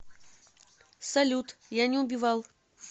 салют я не убивал